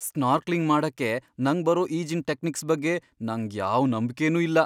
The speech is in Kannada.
ಸ್ನಾರ್ಕ್ಲಿಂಗ್ ಮಾಡಕ್ಕೆ ನಂಗ್ ಬರೋ ಈಜಿನ್ ಟೆಕ್ನಿಕ್ಸ್ ಬಗ್ಗೆ ನಂಗ್ ಯಾವ್ ನಂಬ್ಕೆನೂ ಇಲ್ಲ.